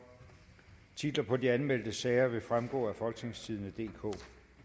titler på de anmeldte sager vil fremgå af folketingstidende DK